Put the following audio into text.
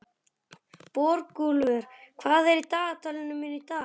Borgúlfur, hvað er í dagatalinu mínu í dag?